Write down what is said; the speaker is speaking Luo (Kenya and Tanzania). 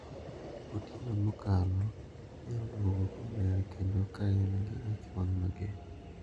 Otieno mokalo ne odwogo komer kendo ka en gi ich wang` mager.